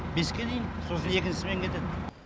беске дейін сосын екінші смена кетеді